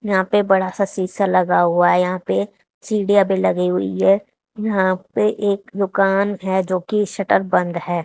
यहां पे बड़ा सा सीसा लगा हुआ है यहां पे सीढ़ियां भी लगी हुई है यहां पे एक दुकान है जो की शटर बंद है।